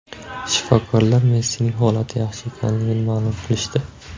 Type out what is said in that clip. Shifokorlar Messining holati yaxshi ekanligini ma’lum qilishdi.